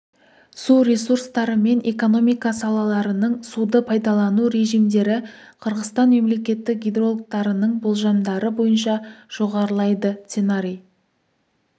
су ресурстары мен экономика салаларының суды пайдалану режимдері қырғызстан мемлекеті гидрологтарының болжамдары бойынша жоғарылайды сценарий